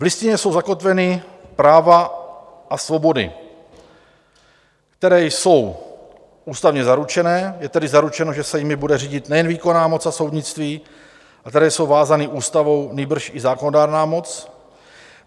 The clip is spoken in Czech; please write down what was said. V Listině jsou zakotveny práva a svobody, které jsou ústavně zaručené, je tedy zaručeno, že se jimi bude řídit nejen výkonná moc a soudnictví, a které jsou vázány ústavou, nýbrž i zákonodárná moc.